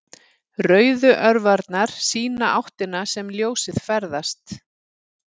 Rauðu örvarnar sýna áttina sem ljósið ferðast.